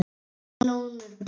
Melónur bara!